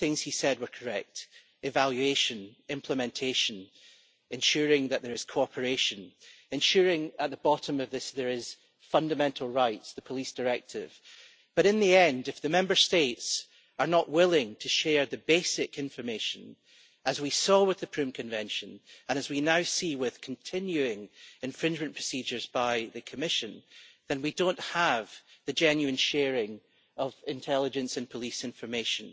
All of the things he said were correct evaluation, implementation, ensuring that there is cooperation, and ensuring at the bottom of this that there are fundamental rights, the Police Directive. But in the end, if the Member States are not willing to share the basic information, as we saw with the Prüm Convention and as we now see with continuing infringement procedures by the Commission, then we don't have the genuine sharing of intelligence and police information,